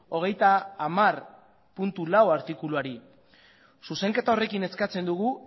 hogeita hamar puntu lau artikuluari zuzenketa horrekin eskatzen dugu